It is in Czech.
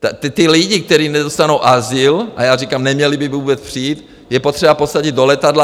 Ty lidi, kteří nedostanou azyl - a já říkám, neměli by vůbec přijít - je potřeba posadit do letadla.